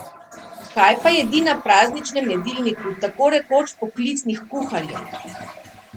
Kaj pa jedi na prazničnem jedilniku tako rekoč poklicnih kuharjev?